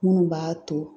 Minnu b'a to